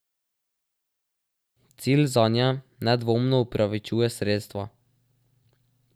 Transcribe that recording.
Cilj zanje nedvomno upravičuje sredstva.